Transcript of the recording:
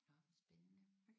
Nåh spændende